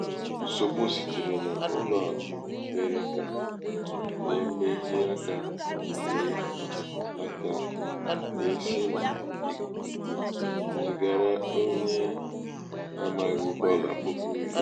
nsògbu sitere n’ụlọ̄àkụ̀ mèrè kà um e mehìe akā um wèe akā um wèe si um n’ìkùkù zìgara onye a māghị̣̀ dọlà puku iri.